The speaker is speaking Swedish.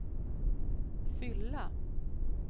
fylla